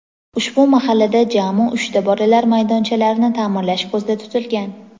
ushbu mahallada jami uchta bolalar maydonchalarini ta’mirlash ko‘zda tutilgan.